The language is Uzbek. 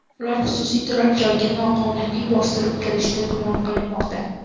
Ular xususiy turar-joyga noqonuniy bostirib kirishda gumon qilinmoqda.